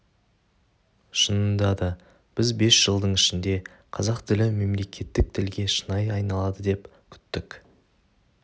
шынында да біз бес жылдың ішінде қазақ тілі мемлекеттік тілге шынайы айналады деп күттік